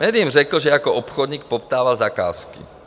Médiím řekl, že jako obchodník poptával zakázky.